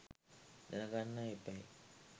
දැන ගන්න එපැයි.